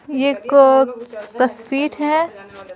यह एक दस फीट है।